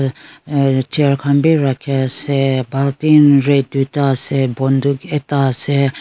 yatae chair khan bi rakhiase bultin red tui ta ase bontuk ekta ase.